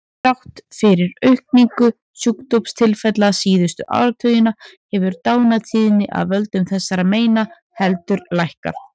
Þrátt fyrir aukningu sjúkdómstilfella síðustu áratugina hefur dánartíðni af völdum þessara meina heldur lækkað.